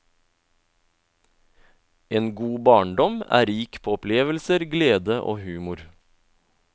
En god barndom er rik på opplevelser, glede og humor.